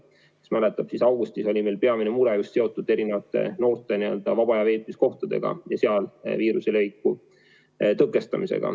Kui te mäletate, siis augustis oli meil peamine mure seotud noorte vaba aja veetmise kohtadega ja seal viiruse leviku tõkestamisega.